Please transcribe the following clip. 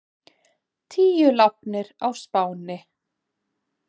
Tíu látnir á Spáni